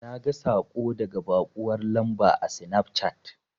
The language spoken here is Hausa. Naga saƙo daga baƙuwar lamba a sinafcat.